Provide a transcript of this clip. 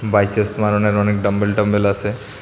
Biceps বানানের অনেক dumbbell টাম্বেল আসে।